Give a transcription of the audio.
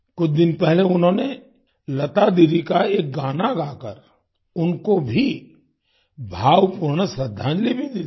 कुछ दिन पहले उन्होंने लता दीदी का एक गाना गाकर उनको भी भावपूर्ण श्रद्धांजलि भी दी थी